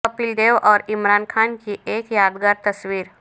کپیل دیو اور عمران خان کی ایک یادگار تصویر